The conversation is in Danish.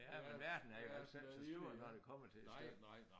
Ja men verden er jo slet ikke så stor når det kommer til æ stykke